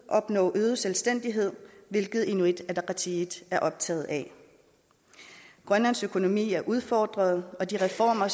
opnå øget selvstændighed hvilket inuit ataqatigiit er optaget af grønlands økonomi er udfordret og de reformer